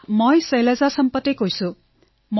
শৈলজাঃ মই শৈলজা সম্পতে কৈ আছো